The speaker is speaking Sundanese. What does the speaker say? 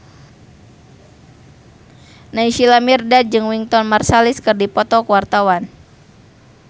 Naysila Mirdad jeung Wynton Marsalis keur dipoto ku wartawan